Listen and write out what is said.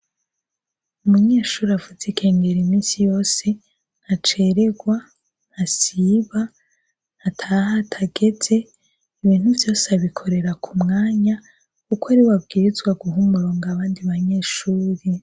Umunyeshure avuza inkengeri nta na rimwe ntacererwa, ntasiba, ntataha hategeze, ibintu vyose abikorera ku mwanya kuko ariwe abwirizwa guha umurongo abandi banyeshure.